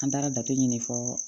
An taara jate ɲini fɔlɔ